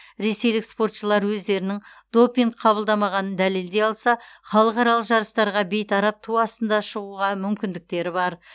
ресейлік спортшылар өздерінің допинг қабылдамағанын дәлелдей алса халықаралық жарыстарға бейтарап ту астында шығуға мүмкіндіктері бар